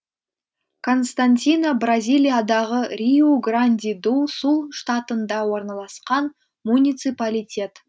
константина бразилиядағы риу гранди ду сул штатында орналасқан муниципалитет